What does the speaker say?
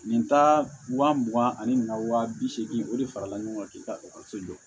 Nin ta wa mugan ani wa bi seegin o de farala ɲɔgɔn kan k'i ka ekɔliso jɔ